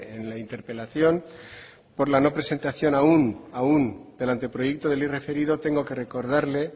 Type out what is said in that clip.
en la interpelación por la no presentación aún del anteproyecto de la ley referido tengo que recordarle